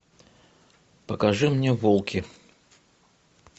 покажи мне волки